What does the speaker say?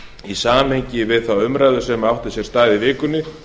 í samhengi við þá umræðu sem átti sér stað í vikunni